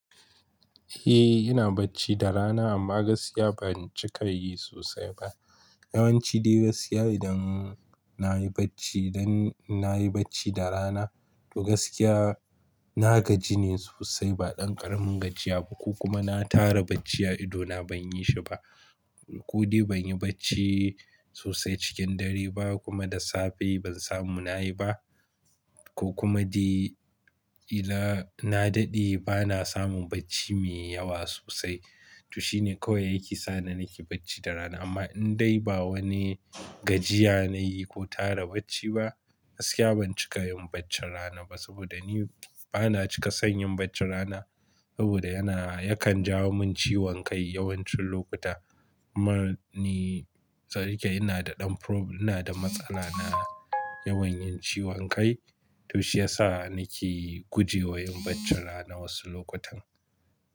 Eh ina bacci da rana amma gaskiya ban cika yi sosai ba. Yawanci dai gaskiya idan nayi bacci, idan nayi bacci da rana to gaskiya na gaji ne sosai ba ɗan ƙaramin gajiya ba ko kuma na tara bacci a ido na ban yi shi ba. Kuɗi ban yi bacci sosai cikin dare ba kuma da safe ban samu nayi ba ko kuma dai ina na daɗe bana samun bacci mai yawa sosai. To shine kawai yake sa ni nake bacci da rana amma in dai ba wani gajiya nayi ko tara bacci ba, gaskiya ban cika yin bacci rana ba saboda ni bana cika son yin bacci rana saboda yana, yakan jawo min ciwon kai yawancin lokuta. Amma ni, sariƙe ina da ɗan prob-- ina da matsala na yawan yin ciwon kai to shi yasa nake guje wa yin bacci rana wasu lokutan.